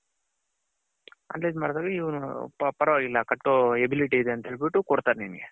analyze ಮಾಡ್ದಾಗ ಇವನು ಪರವಾಗಿಲ್ಲ ಕಟ್ಟೋ ability ಇದೆ ಅಂತ ಹೇಳ್ಬಿತು ಕೊಡ್ತಾರೆ ನಿಂಗೆ.